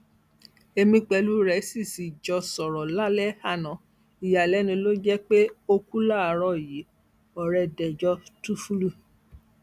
èmi pẹlú rẹ sì sì jọ sọrọ lálẹ àná ìyàlẹnu ló jẹ pé ó kú láàárọ yìí ọrẹ dẹjọ túnfúlù